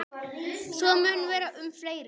Svo mun vera um fleiri.